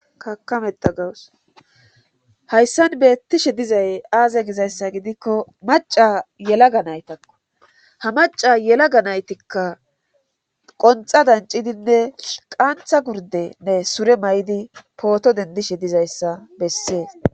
kakameta gawus hayssan beettishe dizay aaze gizayssa gidikko maca yelaga naytakko ha maca yelaga naytikka qonxa dancidinne qaantha gurdenne sure may7idi pooto dendishe dizayssa bessees